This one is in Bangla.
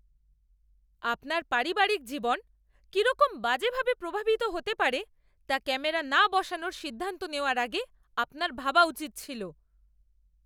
আপনার পারিবারিক জীবন কিরকম বাজেভাবে প্রভাবিত হতে পারে তা ক্যামেরা না বসানোর সিদ্ধান্ত নেওয়ার আগে আপনার ভাবা উচিত ছিল।